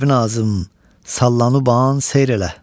Sərvinazım sallanıban seyr elə.